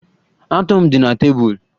Atu m di na tebụl